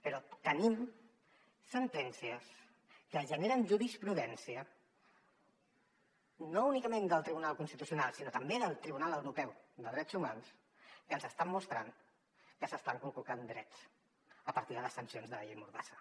però tenim sentències que generen jurisprudència no únicament del tribunal constitucional sinó també del tribunal europeu de drets humans que ens estan mostrant que s’estan conculcant drets a partir de les sancions de la llei mordassa